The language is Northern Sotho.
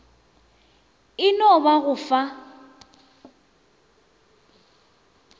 e no ba go fa